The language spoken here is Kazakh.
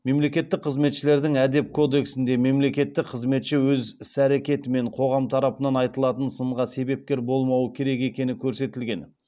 мемлекеттік қызметшілердің әдеп кодексінде мемлекеттік қызметші өз іс әрекетімен қоғам тарапынан айтылатын сынға себепкер болмауы керек екені көрсетілген